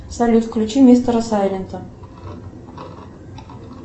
салют включи мистера сайлента